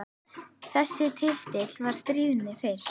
Þessi titill var stríðni fyrst.